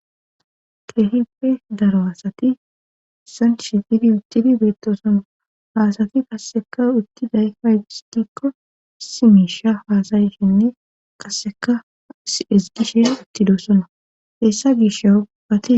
Keehippe daro asati sanshitidi uttidi beettosoma haasati kasseka utti dayfa gistikko simiisha haasayishinne kasseka ezgishe ittidosona hessa gish a ubbati.